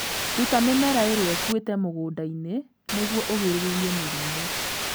Ruta mĩmera ĩrĩa ĩkuĩte mũgũnda-inĩ nĩguo ũgirĩrĩrie mĩrimũ.